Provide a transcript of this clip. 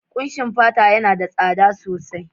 Kushin fata yana da tsada sosai